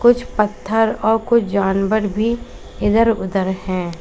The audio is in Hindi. कुछ पत्थर और कुछ जानवर भी इधर उधर हैं।